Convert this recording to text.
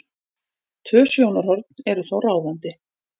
Tvö sjónarhorn eru þó ráðandi.